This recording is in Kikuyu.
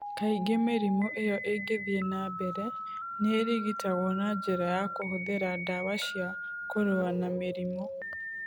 Kaingĩ mĩrimũ ĩyo ĩngĩthiĩ na mbere nĩ ĩrigitagwo na njĩra ya kũhũthĩra ndawa cia kũrũa na mĩrimũ.